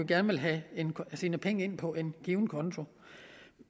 gerne vil have sine penge ind på en given konto